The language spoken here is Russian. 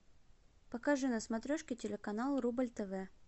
покажи на смотрешке телеканал рубль тв